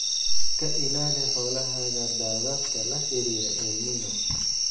Ka ilaali xoolahaaga daadadka la xiriira El Niño.